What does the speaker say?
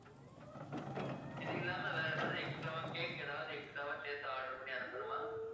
இது இல்லாம வேற எதாவது extra வா cake ஏதாவது extra வா சேர்த்து order பண்ணி அனுப்பனுமா?